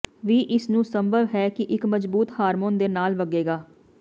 ਵੀ ਇਸ ਨੂੰ ਸੰਭਵ ਹੈ ਕਿ ਇੱਕ ਮਜ਼ਬੂਤ ਹਾਰਮੋਨ ਦੇ ਨਾਲ ਵਗੇਗਾ